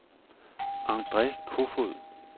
Andre Kofoed